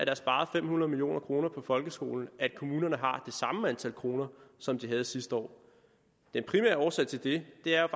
er sparet fem hundrede million kroner på folkeskolen er kommunerne har det samme antal kroner som de havde sidste år den primære årsag til det er